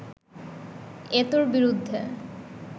এতোর বিরুদ্ধে